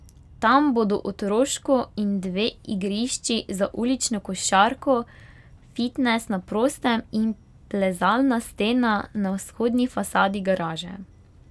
Tam bodo otroško in dve igrišči za ulično košarko, fitnes na prostem in plezalna stena na vzhodni fasadi garaže.